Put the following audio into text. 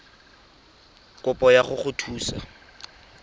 ya kopo go go thusa